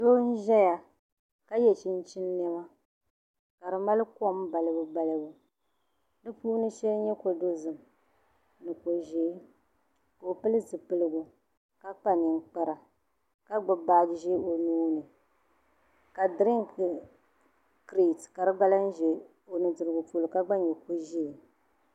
Doo n ƶɛya ka yɛ chinchin niɛma ka di mali kom balibu balibu di puuni shɛli n nyɛ ko dozim ni ko ʒiɛ ka o pili zipiligu ka kpa ninkpara ka gbubi baaji ʒiɛ o nuuni ka dirink kirɛt ka di gba lahi ʒɛ o nudirigu polo ka gba nyɛ ko ʒiɛ